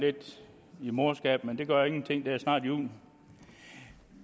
lidt i morskaben men det gør ingenting det er snart jul